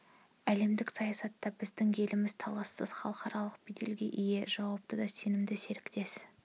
әлемдік саясатта біздің еліміз талассыз халықаралық беделге ие жауапты да сенімді серіктес